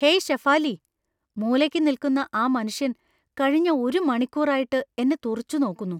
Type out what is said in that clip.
Hey Shefali, മൂലയ്ക്ക് നിൽക്കുന്ന ആ മനുഷ്യൻ കഴിഞ്ഞ ഒരു മണിക്കൂറായിട്ട് എന്നെ തുറിച്ചുനോക്കുന്നു.